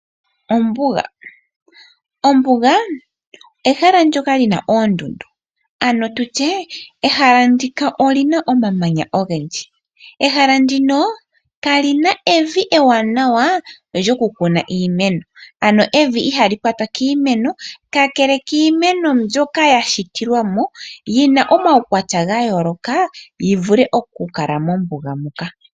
Ombuga ehala ndoka lina oondundu, ano tutye ehala ndika olina omamanya ogendji. Ehala ndino kali na evi ewanawa lyokukuna iimeno, ano evi ihali kwata iimeno, Kakele kiimeno mbyoka ya shitilwa mo yi na omaukwatya ga yooloka yi vule okukala mombuga muka.